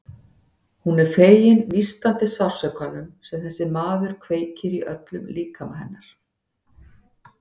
Hún er fegin nístandi sársaukanum sem þessi maður kveikir í öllum líkama hennar.